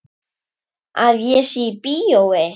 Að ég sé í bíói.